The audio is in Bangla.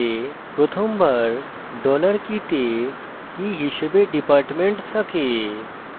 প্রথমবার dollar key $key তে key হিসাবে department থাকে